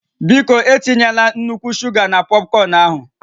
Biko, etinyela nnukwu shuga na pọpkọn ahụ